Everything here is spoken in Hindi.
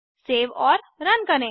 सेव और रन करें